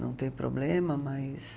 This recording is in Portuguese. Não tem problema, mas...